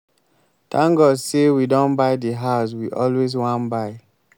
thank god say we don buy the house we always wan buy